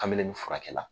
Kabini nin furakɛ la